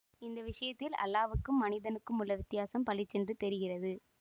இந்த விஷயத்தில் அல்லாஹ் வுக்கும் மனிதனுக்கும் உள்ள வித்தியாசம் பளிச்சென்று தெரிகிறது